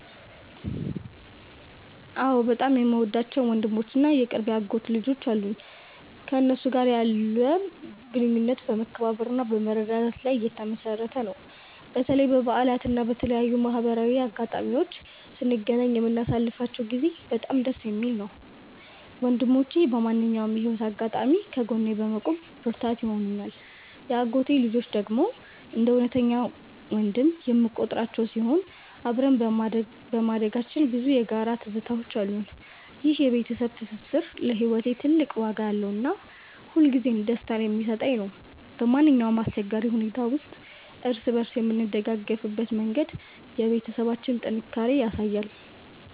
አዎ፣ በጣም የምወዳቸው ወንድሞች እና የቅርብ የአጎት ልጆች አሉኝ። ከእነሱ ጋር ያለን ግንኙነት በመከባበርና በመረዳዳት ላይ የተመሠረተ ነው። በተለይ በበዓላት እና በተለያዩ ማህበራዊ አጋጣሚዎች ስንገናኝ የምናሳልፈው ጊዜ በጣም ደስ የሚል ነው። ወንድሞቼ በማንኛውም የህይወት አጋጣሚ ከጎኔ በመቆም ብርታት ይሆኑኛል። የአጎቴ ልጆች ደግሞ እንደ እውነተኛ ወንድም የምቆጥራቸው ሲሆን፣ አብረን በማደጋችን ብዙ የጋራ ትዝታዎች አሉን። ይህ የቤተሰብ ትስስር ለህይወቴ ትልቅ ዋጋ ያለውና ሁልጊዜም ደስታን የሚሰጠኝ ነው። በማንኛውም አስቸጋሪ ሁኔታ ውስጥ እርስ በእርስ የምንደጋገፍበት መንገድ የቤተሰባችንን ጥንካሬ ያሳያል።